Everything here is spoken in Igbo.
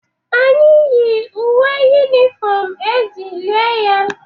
Anyị yi uwe yunifom e ji lie ya